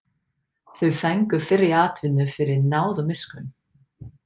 Þau fengu fyrri atvinnu fyrir náð og miskunn.